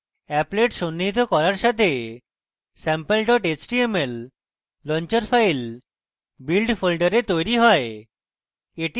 applet সন্নিহিত করার সাথে sample html launcher file build folder তৈরী হয়